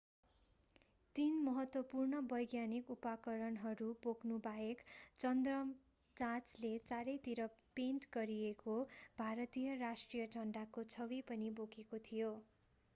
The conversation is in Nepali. तीन महत्त्वपूर्ण वैज्ञानिक उपकरणहरू बोक्नु बाहेक चन्द्र जाँचले चारै तिर पेन्ट गरिएको भारतीय राष्ट्रिय झण्डाको छवि पनि बोकेको थियो